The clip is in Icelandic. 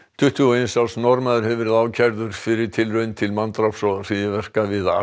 tuttugu og eins árs Norðmaður hefur verið ákærður fyrir tilraun til manndráps og hryðjuverka við Al